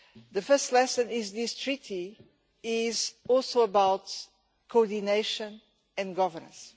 The first lesson is that this Treaty is also about coordination and governance.